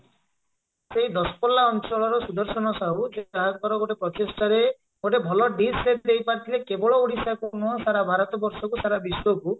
ସେଇ ଦଶପଲ୍ଲା ଅଞ୍ଚଳର ସୁଦର୍ଶନ ସାହୁ ଯାହାଙ୍କର ଗୋଟେ ପ୍ରଚେଷ୍ଟାରେ ଗୋଟେ ଭଲ dish ସେ ଦେଇପାରିଥିଲେ କେବଳ ଓଡ଼ିଶାକୁ ନୁହଁ ସାରା ଭାରତ ବର୍ଷକୁ ସାରା ବିଶ୍ଵକୁ